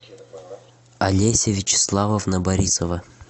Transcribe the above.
олеся вячеславовна борисова